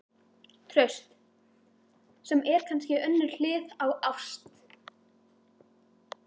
TRAUST- sem er kannski önnur hlið á ást.